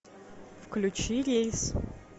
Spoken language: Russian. включи рейс